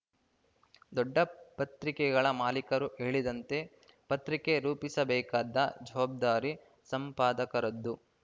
ದೊಡ್ಡ ಪತ್ರಿಕೆಗಳ ಮಾಲೀಕರು ಹೇಳಿದಂತೆ ಪತ್ರಿಕೆ ರೂಪಿಸಬೇಕಾದ ಜವಾಬ್ದಾರಿ ಸಂಪಾದಕರದ್ದು